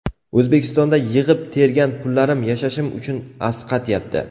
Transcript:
O‘zbekistonda yig‘ib-tergan pullarim yashashim uchun asqatyapti.